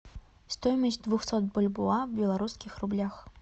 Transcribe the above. стоимость двухсот бальбоа в белорусских рублях